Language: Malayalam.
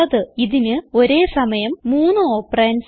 ഇതിന് ഒരേ സമയം മൂന്ന് ഓപ്പറണ്ട്സ് ഉണ്ട്